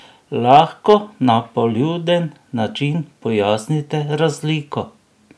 Lahko na poljuden način pojasnite razliko?